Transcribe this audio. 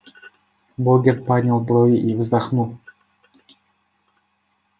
богерт поднял брови и вздохнул